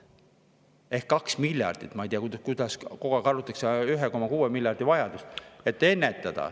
Ehk meil on vaja kaks miljardit – ma ei tea, kuidas kogu aeg arvutatakse 1,6 miljardi vajadust –, et ennetada ...